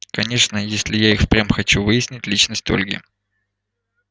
конечно если я и впрямь хочу выяснить личность ольги